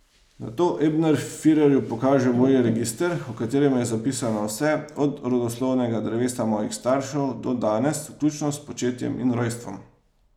Nato Ebner firerju pokaže moj register, v katerem je zapisano vse, od rodoslovnega drevesa mojih staršev do danes, vključno s spočetjem in rojstvom.